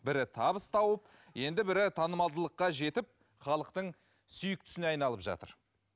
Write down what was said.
бірі табыс тауып енді бірі танымалдылыққа жетіп халықтың сүйіктісіне айналып жатыр